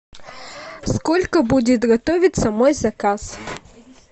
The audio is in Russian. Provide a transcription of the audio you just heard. сколько будет готовиться мой заказ